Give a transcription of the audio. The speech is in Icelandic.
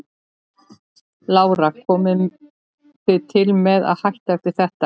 Lára: Komið þið til með að hætta eftir þetta?